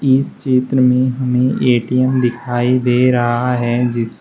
इस चित्र में हमें ए_टी_एम दिखाई दे रहा है जिस--